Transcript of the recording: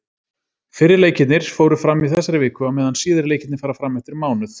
Fyrri leikirnir fóru fram í þessari viku, á meðan síðari leikirnir fara fram eftir mánuð.